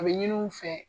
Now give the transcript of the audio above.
A bɛ ɲini u fɛ